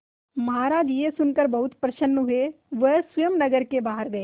महाराज यह सुनकर बहुत प्रसन्न हुए वह स्वयं नगर के बाहर गए